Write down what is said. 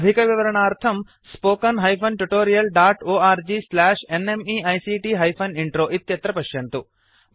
अधिकविवरणार्थं spoken hyphen tutorial dot org slash NMEICT hyphen intro इत्यत्र पश्यन्तु